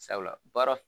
Sabula baara